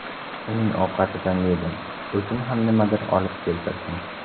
Uning ovqatidan yedim, o‘zim ham nimadir olib keltirdim.